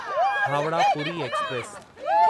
Howrah Puri express